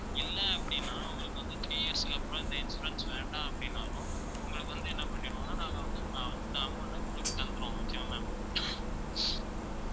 இல்லை அப்படின்னா உங்களுக்கு வந்து three years க்கு அப்புறம் இந்த insurance வேண்டாம் அப்படின்னாலும் உங்களுக்கு வந்து என்ன பண்ணிடுவோம்னா நாங்க வந்து உங்க amount அ உங்களுக்கு தந்திருவோம் okay வா ma'am